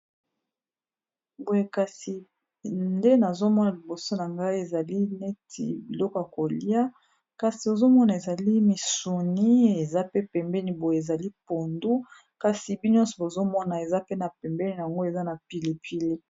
boye kasi nde nazomona liboso na ngai ezali neti biloko ya kolia kasi ozomona ezali misuni eza pe pembeni boye ezali pondu kasi binyonso bozomona eza pe na pembeni yango eza na pilipili